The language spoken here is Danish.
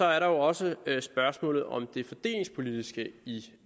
er der også spørgsmålet om det fordelingspolitiske i